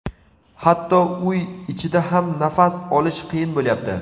Hatto uy ichida ham nafas olish qiyin bo‘lyapti.